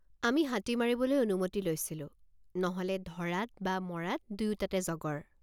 আমি হাতী মাৰিবলৈ অনুমতি লৈছিলো নহ'লে ধৰাত বা মৰাত দুয়োটাতে জগৰ।